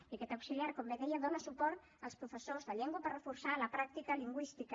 i aquest auxiliar com bé deia dona suport als professors de llengua per reforçar la pràctica lingüística